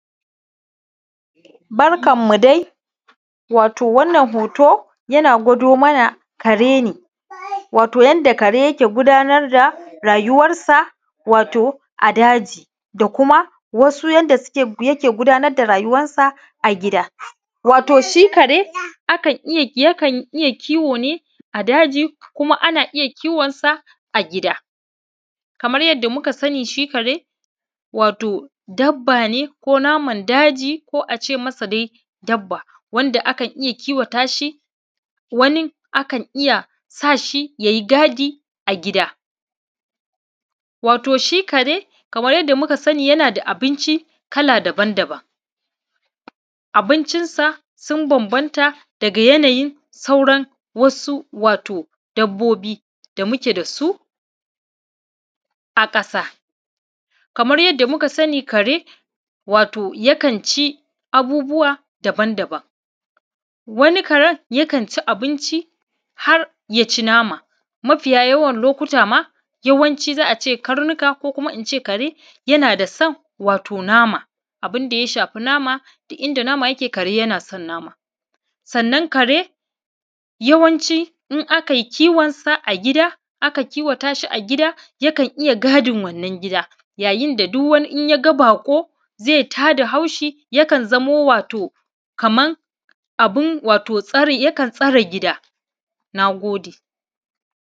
Barkanmu dai. Wato wannan hoto, yana gwado mana kare ne, wato yanda kare yake gudanar da rayuwarsa, wato a daji, da kuma wasu yanda suke, yake gudanar da rayuwansa a gida. Wato shi kare, akan iya, yakan iya kiwo ne a daji kuma ana iya kiwonsa a gida. Kamar yadda muka sani shi kare, wato dabba ne ko naman daji, ko a ce masa dai dabba, wanda akan iya kiwata shi, wani akan iya sa shi ya yi gadi a gida. Wato shi kare kamar yanda muka sani, yana da abinci kala daban daban. Abincinsa sun bambanta daga yanayin sauran wasu wato dabbobi da muke da su a ƙasa. Kamar yadda muka sani kare, wato yakan ci abubuwa daban daban. Wani karen yakan ci abinci ha rya ci nama. Mafiya yawan lokuta ma, yawanci za a ce karnuka ko kuma in ce kare, yana da son wato nama, abin da ya shafi nama, duk inda nama yake, kare yana son nama. Sannan kare yawanci, in aka yi kiwonsa a gida, aka kiwata shi a gida, yakan iya gadin wannan gida. Yayin da duk wani, in ya ga baƙo, zai ta da haushi, yakan zamo wato, kaman wato abin tsari, yakan tsare gida. Na gode.